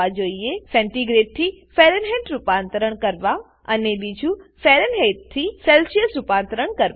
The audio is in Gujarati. સેન્ટિગ્રેડ સેન્ટીગ્રેડ થી ફારેનહાઇટ ફેરનહેઇટ રૂપાંતરણ કરવા અને બીજું ફારેનહાઇટ ફેરનહેઇટ થી સેલ્સિયસ સેલ્સીઅસ રૂપાંતરણ કરવા